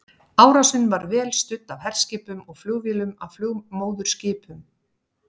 Árásin var vel studd af herskipum og flugvélum af flugmóðurskipum.